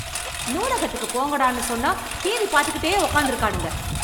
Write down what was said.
நூலகத்துக்கு போங்கடானு சொன்னா டிவி பாத்துக்கிட்டே உக்காந்துருக்கானுங்க